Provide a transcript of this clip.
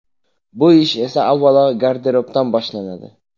Bu ish esa avvalo garderobdan boshlanadi.